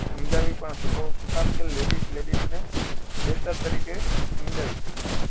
સમજાવી પણ શકો કે શું કામ ladies ladies ને બેહતર તરીકે સમજાવી શકે